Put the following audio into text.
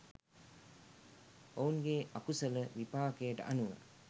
ඔවුන්ගේ අකුසල විපාකයට අනුව